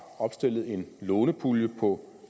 opstillet en lånepulje på